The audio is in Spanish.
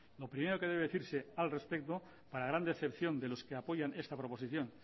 lo primero que debe decirse al respecto para gran decepción de los que apoya esta proposición